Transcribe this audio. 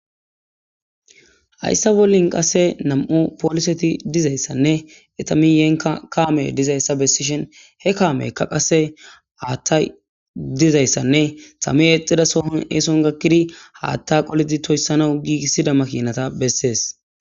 Hayssa bollin qasse nam7o pooliseti dizayssanne etamiyenka kaame dizayssa bessishen he kaameykka qase haaththay dizayssanne same exida sohon eeson gakkidi haatta qolidi toyssanau giigissida makinata bessees.